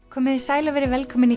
komiði sæl og verið velkomin